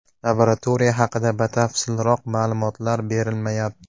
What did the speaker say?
Laboratoriya haqida batafsilroq ma’lumotlar berilmayapti.